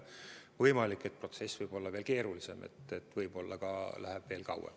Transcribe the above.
Võimalik, et protsess on veel keerulisem, nii et võib-olla läheb veel kauem.